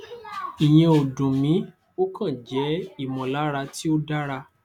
ìyẹn ò dùn mí ó kàn jẹ ìmọlára tí ò dáŕa